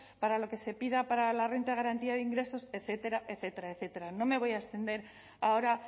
para lo que se pida para la renta de garantía de ingresos etcétera etcétera etcétera no me voy a extender ahora